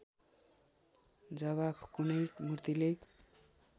जवाफ कुनै मुर्तिले